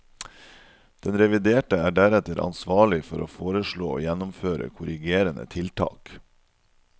Den reviderte er deretter ansvarlig for å foreslå og gjennomføre korrigerende tiltak.